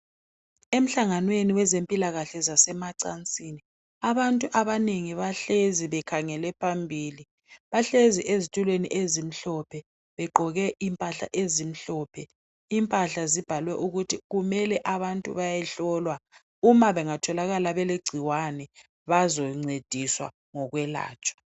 Emhlanganweni wezempilakahle zasemacansini abantu abanengi bahlezi bekhangela phambili bahlezi ezitulweni ezimhlophe begqoke impahla ezimhlophe impahla zibhalwe ukuthi kumele abantu bayehlolwa uma bengatholakala belegcikwane bazoncediswa ngokwelatshwa.